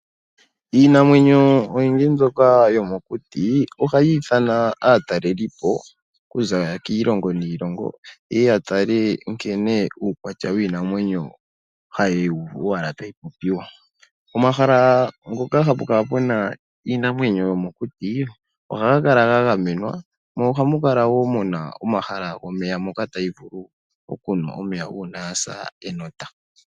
Iinamwenyo oyindji mbyoka yomokuti ohayi ithana aatalelipo okuza kiilongo niilongo ye ye ya tale nkene uukwatya wiinamwenyo hayi kala tayi popiwa. Omahala ngoka hapu kala pu na iinamwenyo yomokuti, ohaga kala ga gamenwa, mo ohamu kala mu na omahala gomeya moka tayi vulu okunwa omeya uuna ya sa enota.